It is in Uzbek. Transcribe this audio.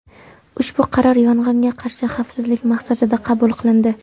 Ushbu qaror yong‘inga qarshi xavfsizlik maqsadida qabul qilindi.